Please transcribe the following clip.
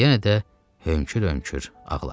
Yenə də hönkür-hönkür ağladı.